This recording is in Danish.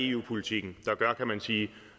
eu politikken der gør kan man sige